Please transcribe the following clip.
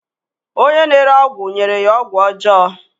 Onye na-ere ọgwụ nyere ya ọgwụ ọjọọ